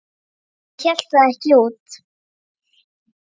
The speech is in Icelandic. Hún hélt það ekki út!